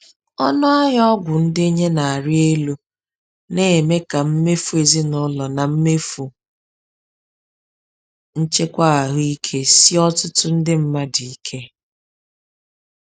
Ọnụahịa ọgwụ ndenye na-arị elu na-eme ka mmefu ezinaụlọ na mmefu nchekwa ahụike sie ọtụtụ ndị mmadụ ike.